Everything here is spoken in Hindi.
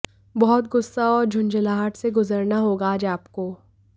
बहुत गुस्सा और झुंझलाहट से गुजरना होगा आज आपको